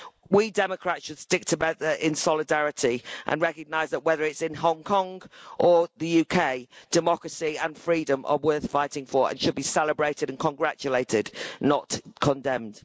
We democrats should stick together in solidarity and recognise that whether it's in Hong Kong or the UK, democracy and freedom are worth fighting for and should be celebrated and congratulated, not condemned.